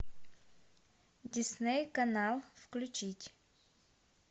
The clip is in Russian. дисней канал включить